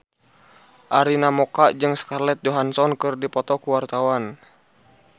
Arina Mocca jeung Scarlett Johansson keur dipoto ku wartawan